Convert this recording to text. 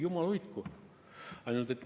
Jumal hoidku!